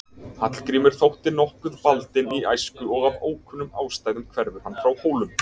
Hallgrímur þótti nokkuð baldinn í æsku og af ókunnum ástæðum hverfur hann frá Hólum.